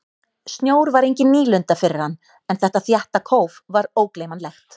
Snjór var engin nýlunda fyrir hann en þetta þétta kóf var ógleymanlegt.